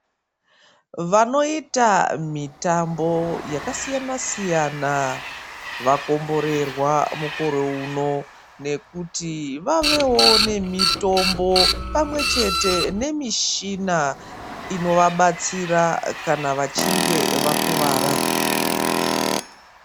Vanoita mitambo yakasiyanasiyana vakomborerwa mukore unowu nekuti vavewo nemitombo pamwechete nemishina inovabatsira kana vachinge vakuvara.